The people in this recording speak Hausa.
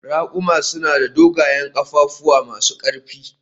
Raƙuma suna da dogayen ƙafafu masu ƙarfi